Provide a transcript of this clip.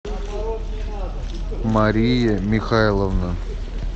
мария михайловна